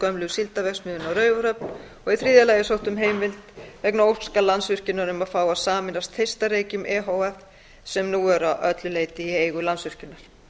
gömlu síldarverksmiðjunni á raufarhöfn í þriðja lagi er sótt um heimild vegna óska landsvirkjunar um að fá að sameinast þeistareykjum e h f sem nú eru að öllu leyti í eigu landsvirkjunar